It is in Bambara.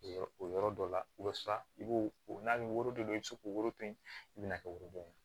O yɔrɔ dɔ la o bɛ siran i b'o n'a bɛ woro dɔ la i bɛ se k'o woro to yen i bɛ na kɛ worodon ye